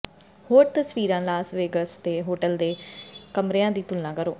ਹੋਰ ਤਸਵੀਰਾਂ Las Vegas ਦੇ ਹੋਟਲ ਦੇ ਕਮਰਿਆਂ ਦੀ ਤੁਲਨਾ ਕਰੋ